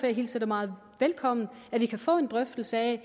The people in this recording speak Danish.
jeg hilser det meget velkommen at vi kan få en drøftelse af